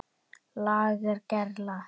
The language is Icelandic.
LAGER GERLA